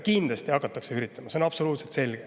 Kindlasti hakatakse üritama, see on absoluutselt selge.